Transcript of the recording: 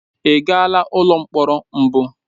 Ị gaala ụlọ mkpọrọ mbụ?